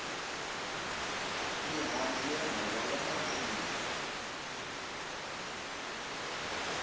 mihandzu ya nhova ya nandziha